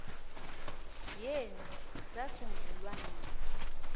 yenu sasungulwa nini